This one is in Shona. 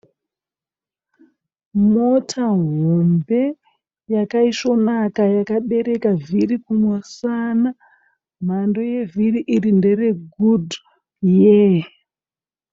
Mota hombe yakaisvonaka yakabereka vhiri kumusana. Mhando yevhiri iri ndere gudhuyee.